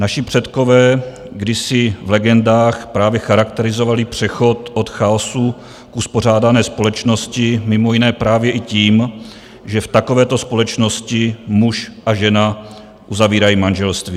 Naši předkové kdysi v legendách právě charakterizovali přechod od chaosu k uspořádané společnosti mimo jiné právě i tím, že v takovéto společnosti muž a žena uzavírají manželství.